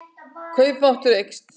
Kaupmáttur eykst